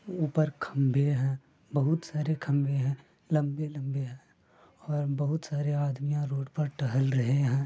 ऊपर खम्भे है बहुत सारे खम्भे है लम्बे - लम्बे है और बहुत सारे आदमियां रोड पर टहल रहे है।